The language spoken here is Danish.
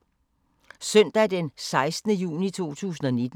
Søndag d. 16. juni 2019